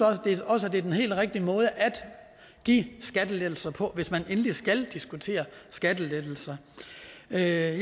også det er den helt rigtige måde at give skattelettelser på hvis man endelig skal diskutere skattelettelser jeg er